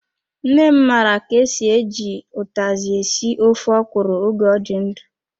Nne m mara ka-esi, eji utazi esi ofe ọkwụrụ oge ọ dị ndụ.